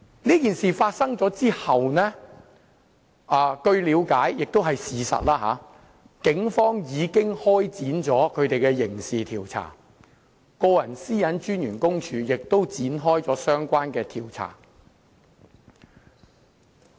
這件事發生後，據了解而且也是事實，警方已經開展刑事調查，個人資料私隱專員公署也展開了相關調查。